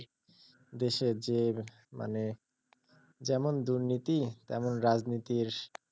দেশের যে মানে যেমন দুর্নীতি তেমন রাজনীতির,